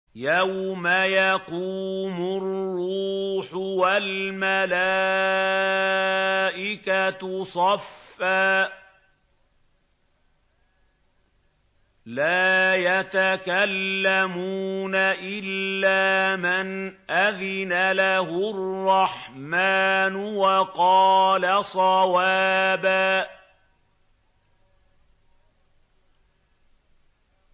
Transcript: يَوْمَ يَقُومُ الرُّوحُ وَالْمَلَائِكَةُ صَفًّا ۖ لَّا يَتَكَلَّمُونَ إِلَّا مَنْ أَذِنَ لَهُ الرَّحْمَٰنُ وَقَالَ صَوَابًا